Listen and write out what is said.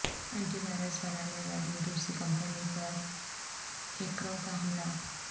anti virus بنانے والی روسی کمپنی پر ہیکروں کا حملہ